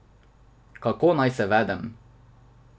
Kako naj se vedem.